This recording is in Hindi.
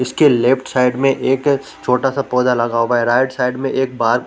उसके लेफ्ट साइड में एक छोटा सा पौधा लगा हुआ है राइट साइड में एक बाल --